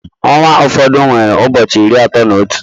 Ọnwa ụfọdụ nwere ụbọchị iri atọ na otu